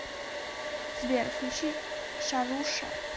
сбер включи шаруша